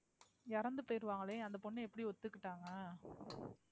இறந்து போயிருவாங்களே அந்த பொண்ணு எப்படி ஒத்துக்கிட்டாங்க.